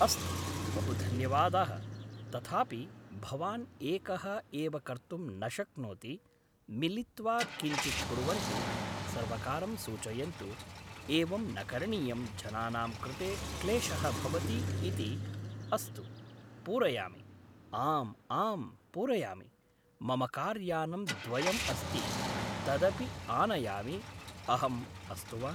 अस्तु बहुधन्यवादः तथापि भवान् एकः एव कर्तुं न शक्नोति मिलित्वा किञ्चित कुर्वन्तु सर्वकारं सूचयन्तु एवं न करणीयं जनानां कृते क्लेशः भवति इति अस्तु पूरयामि आम् आम् पूरयामि मम का्रयानं द्वयं अस्ति तदपि आनयामि अहं अस्तु वा